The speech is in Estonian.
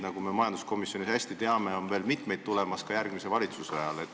Nagu me majanduskomisjonis hästi teame, on ka järgmise valitsuse ajal veel mitu muudatuste lainet tulemas.